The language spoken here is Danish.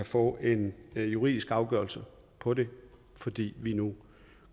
få en juridisk afgørelse på det fordi vi nu